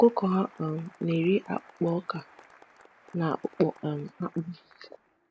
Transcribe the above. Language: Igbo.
Ọkụkọ ha um na-eri akpụkpọ ọka na akpụkpọ um akpụ.